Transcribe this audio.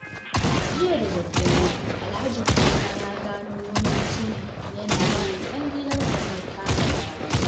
Jiya da daddare, Alhaji Musa ya gano wani mutumi yana leƙen gidansa ta tagar baya.